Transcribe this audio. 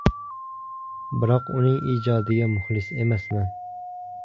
Biroq uning ijodiga muxlis emasman”.